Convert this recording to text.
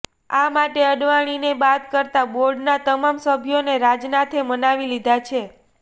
આ માટે અડવાણીને બાદ કરતા બોર્ડના તમામ સભ્યોને રાજનાથે મનાવી લીધા છે